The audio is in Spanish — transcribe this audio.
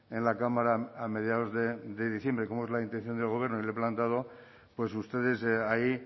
en la cámara a mediados de diciembre como es la intención del gobierno y lo he planteado pues ustedes ahí